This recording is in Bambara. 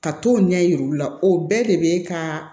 Ka t'o ɲɛ yira olu la o bɛɛ de be ka